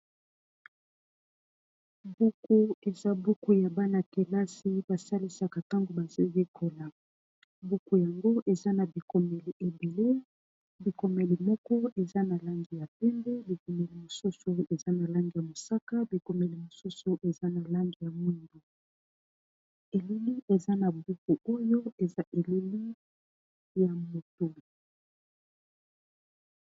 buku eza buku ya bana-kelasi basalisaka ntango bazoyekola buku yango eza na bikomeli ebele bikomeli moko eza na langi ya pende bikomeli mosusu eza na langi ya mosaka bikomeli mosusu eza na langi ya mwimbu eleli eza na buku oyo eza eleli ya motu